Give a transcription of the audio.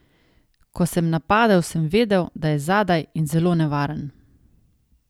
Ko sem napadel, sem vedel, da je zadaj in zelo nevaren.